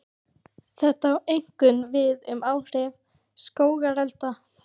Þetta á einkum við um áhrif skógarelda.